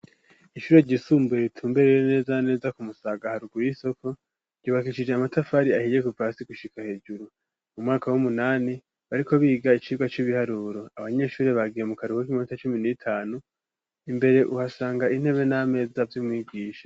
Ishuri ryisumbuye ritumberere neza neza ku musagaharugu y'isoko ryubakishije amatafari ahiye ku pasi gushika hejuru mu mwaka w'umunani bariko biga icirwa c'ibiharuro abanyeshuri bagiye mu karuku k'imota cumi n'itanu imbere uhashanga intebe n'ameza vy'umwigisha.